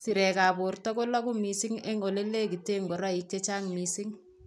Sirekab borto koloku mising eng' olenegiten ngoroik chechang mising